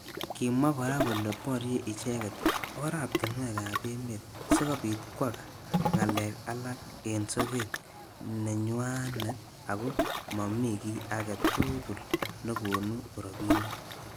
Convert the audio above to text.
Kimwa kora kole borye icheket oratunwek ab emet sikobit kwaak ngalek alak eng soket nenywanet ako mamii ki age tugul nekonu robinik.